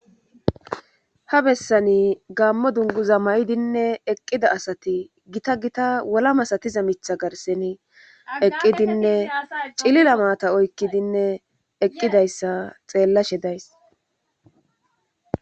ha bessani gammo dunguza ma7idinne eqqida asati gita gita wola masatiza mitha garseni eqqidinne cilila maata oykkidinne eqqidayssa xeellashe days